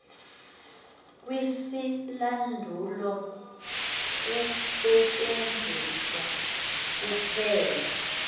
kwisilandulo kusetyenziswa kuphela